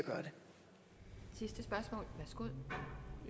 gøre